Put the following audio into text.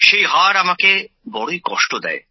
সেই হার আমাকে বড়ই কষ্ট দেয়